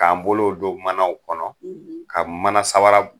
K'an bolow don o manaw kɔnɔ, ka manasabara